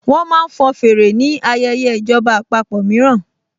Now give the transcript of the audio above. Wọ́n máa ń fọn fèrè ni ayẹyẹ ìjọba àpapọ̀ mìíràn